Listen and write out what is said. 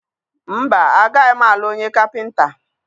Mba, agaghị m alụ onye kapịnta.